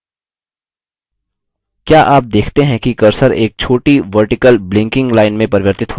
क्या आप देखते हैं कि cursor एक छोटी vertical blinking line में परिवर्तित होता है